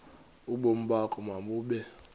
ubomi bakho mabube